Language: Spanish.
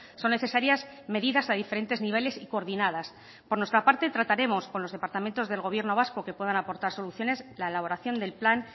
son necesarias medidas a diferentes niveles y coordinadas por nuestra parte trataremos con los departamentos del gobierno vasco que puedan aportar soluciones la elaboración del plan